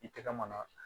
I tɛgɛ maana